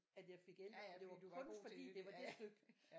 At jeg fik 11 for det var kun fordi at det var det stykke